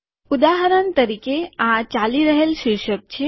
ઉદાહરણ તરીકે આ ચાલી રહેલ શીર્ષક છે